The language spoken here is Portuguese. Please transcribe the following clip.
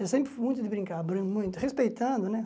Eu sempre fui muito de brincar, abrindo muito, respeitando, né?